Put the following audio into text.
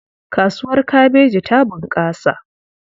Kasuwar kabeji ta bunƙasa.